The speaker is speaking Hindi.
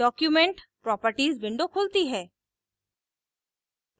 document properties window खुलती है